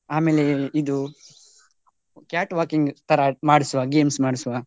ಆಮೇಲೆ ಆಮೇಲೆ ಇದು cat walking ತರ ಮಾಡಿಸುವ games ಮಾಡಿಸುವ.